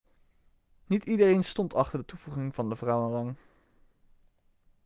niet iedereen stond achter de toevoeging van de vrouwenrang